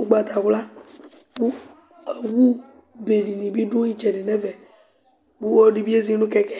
ugbatawla kʋ awu dìní bi dʋ itsɛdi nʋ ɛmɛ kʋ ɔlɔdi bi ezi nʋ keke